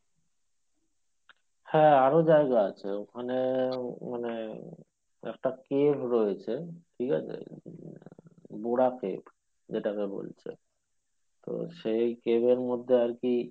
হ্যাঁ আরো জায়গা আছে ওখানে মানে একটা cave রয়েছে ঠিক আছে? cave যেটাকে বলছে তো সেই cave এর মধ্যে আরকি